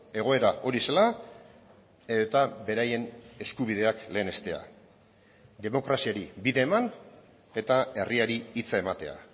egoera hori zela eta beraien eskubideak lehenestea demokraziari bide eman eta herriari hitza ematea